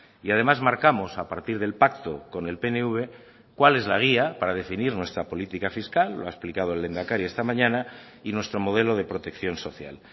y además marcamos a partir del pacto con el pnv cuál es la guía para definir nuestra política fiscal lo ha explicado el lehendakari esta mañana y nuestro modelo de protección social